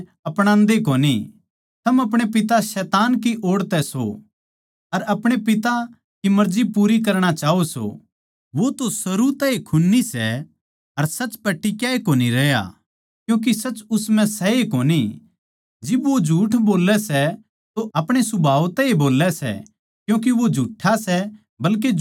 थम अपणे पिता शैतान की ओड़ तै सो अर अपणे पिता की मर्जी पूरी करणा चाहो सो वो तो शुरू तै ए खून्नी सै अर सच पै टिक्या ए कोनी रहया क्यूँके सच उस म्ह सै ए कोनी जिब वो झूठ बोल्लै सै तो अपणे सुभाव तै ए बोल्लै सै क्यूँके वो झूठा सै बल्के झूठ का बाप सै